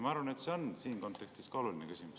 Ma arvan, et see on siin kontekstis oluline küsimus.